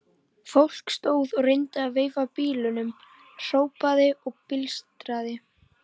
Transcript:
Fólk stóð og reyndi að veifa bílum, hrópaði og blístraði.